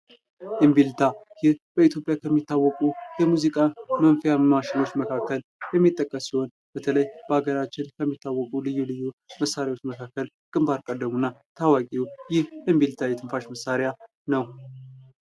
እምቢልታ ይህ በኢትዮጵያ ከሚታወቁ የሙዚቃ መሣሪያዎች መካከል በተለይ በሀገራችን ከሚታወቁ የሙዚቃ የትንሳሽ መሳሪያዎች መካከል ግንባር ቀደሙ እምቢልታ ነው።